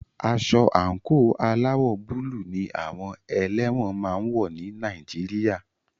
Aṣọ àńkò aláwọ̀ búlù ní àwọn ẹlẹ́wọ̀n máà ń wọ́ ní Nàìjíríà.